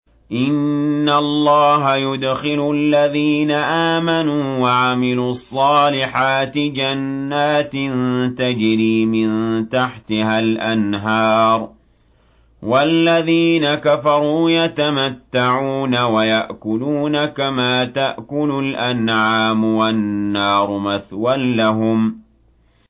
إِنَّ اللَّهَ يُدْخِلُ الَّذِينَ آمَنُوا وَعَمِلُوا الصَّالِحَاتِ جَنَّاتٍ تَجْرِي مِن تَحْتِهَا الْأَنْهَارُ ۖ وَالَّذِينَ كَفَرُوا يَتَمَتَّعُونَ وَيَأْكُلُونَ كَمَا تَأْكُلُ الْأَنْعَامُ وَالنَّارُ مَثْوًى لَّهُمْ